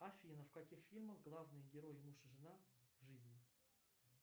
афина в каких фильмах главные герои муж и жена в жизни